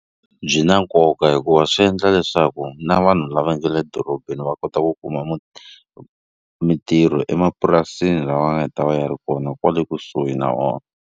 Byi na nkoka hikuva swi endla leswaku na vanhu lava nge le dorobeni va kota ku kuma mintirho emapurasini lava nga ta va yi ri kona kwale kusuhi na vona.